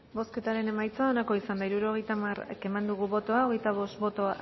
bozketaren emaitza onako izan da hirurogeita hamar eman dugu bozka hogeita bost boto